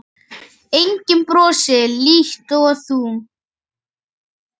Enginn brosir líkt og þú.